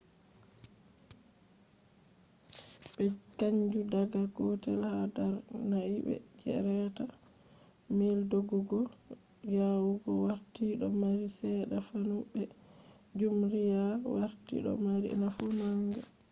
ɓe canji daga gotel ha darnai be je reta mile doggugo yawugo warti do mari seeɗa nafu be jumriya warti do mari nafu manga